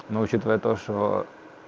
но учитывая то что